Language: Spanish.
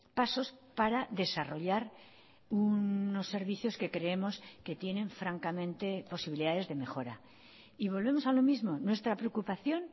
pasos para desarrollar unos servicios que creemos que tienen francamente posibilidades de mejora y volvemos a lo mismo nuestra preocupación